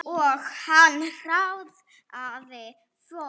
Og hann hraðaði för.